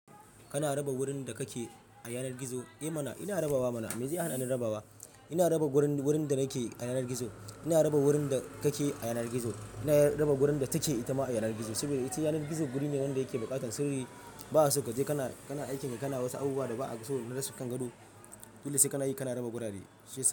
Kana raba wurin da kake a yanar gizo? Eh mana ina rabawa mana, me zai hana ni rabawa? Ina raba wurin, wurin da nake a yanar gizo, ina raba wurin da kake a yanar gizo, ina raba wurin da take ita ma a yanar gizo. Saboda ita yanar gizo wuri ne wanda yake buƙatar sirri. Ba su gaje ka na, ka na aikin ka, ka na wasu abubuwa da ba'a so rasu kan gado. Dole sai kana yi, kana raba gurare.